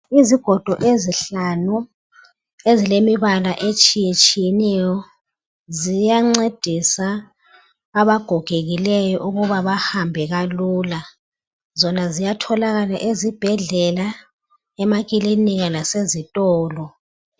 Izigodo ezihlanu ezilemibala etshiyetshiyeneyo ziyancedisa abagogekileyo ukuba bahambe kalula zona ziyatholakala ezibhedlela emakilinika kanye lasezitolo.